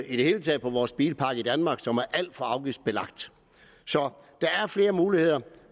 i det hele taget på vores bilpark i danmark som er alt for afgiftsbelagt så der er flere muligheder